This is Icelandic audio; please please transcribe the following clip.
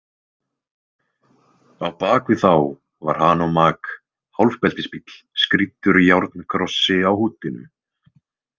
Á bak við þá var Hanomag- hálfbeltisbíll skrýddur járnkrossi á húddinu.